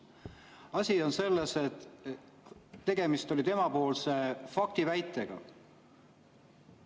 Asi on selles, et tegemist oli tema faktiväitega.